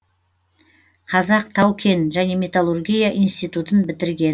қазақ тау кен және металлургия институтын бітірген